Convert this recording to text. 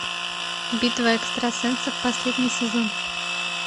битва экстрасенсов последний сезон